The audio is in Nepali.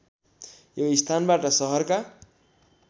यो स्थानबाट सहरका